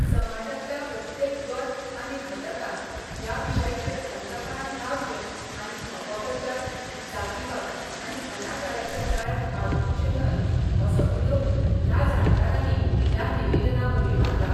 समाजातल्या प्रत्येक गट आनी घटकांन ह्या विशयाचेर थंडपणान रावचे आनी अपप्रचार, जातीवाद आनी अनाचाराच्या जाळ्यात आडकुचे न्हय, असो उलो ह्या जाणकारानी ह्या निवेदनावरवी माल्ला.